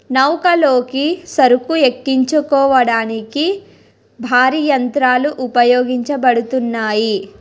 నౌకలోకి సరుకు ఎక్కించుకోవడానికి భారీ యంత్రాలు ఉపయోగించబడుతున్నాయి.